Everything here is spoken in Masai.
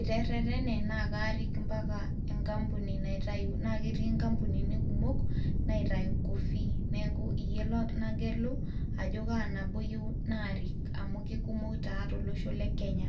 iterretene naa kaarik mpaka enkampuni naitayu naa ketii inkampunini kumok naitayu coffee neeku iyie lo nagelu ajo kaa nabo iyieu naarik amu kikumok taa tolosho le kenya.